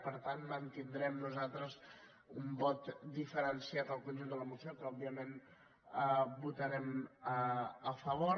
per tant hi mantindrem nosaltres un vot diferenciat del conjunt de la moció que òbviament votarem a favor